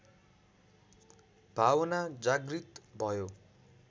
भावना जागृत भयो